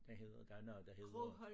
Den hedder der er noget der hedder